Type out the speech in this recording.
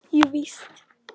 Jú víst.